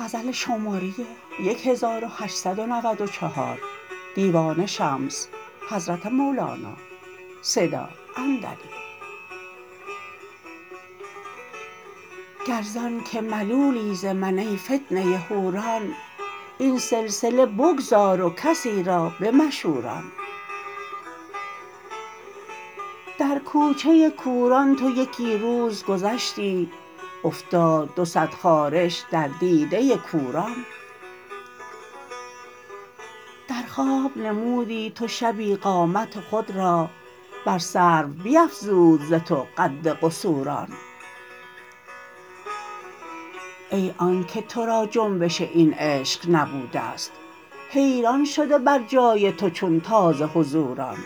گر زانک ملولی ز من ای فتنه حوران این سلسله بگذار و کسی را بمشوران در کوچه کوران تو یکی روز گذشتی افتاد دو صد خارش در دیده کوران در خواب نمودی تو شبی قامت خود را بر سرو بیفزود ز تو قد قصوران ای آنک تو را جنبش این عشق نبوده ست حیران شده بر جای تو چون تازه حضوران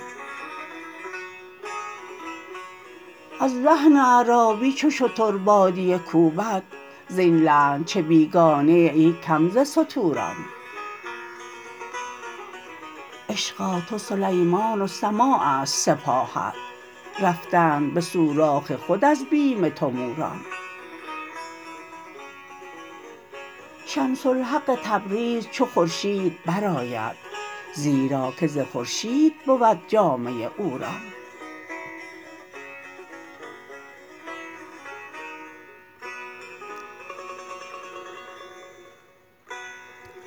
از لحن عرابی چو شتر بادیه کوبد زین لحن چه بیگانه ای ای کم ز ستوران عشقا تو سلیمان و سماع است سپاهت رفتند به سوراخ خود از بیم تو موران شمس الحق تبریز چو خورشید برآید زیرا که ز خورشید بود جامه عوران